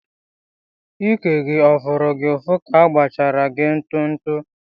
Íkè gị ọ fụrụ gị ụfụ ka agbachara gị ntụtụ?